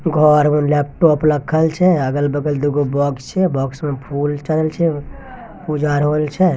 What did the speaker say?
घर उ लेपटोप रखल छे अगल बगल दो गो बॉक्स छे बॉक्स में फूल चढ़न छे पूजा हॉल छे।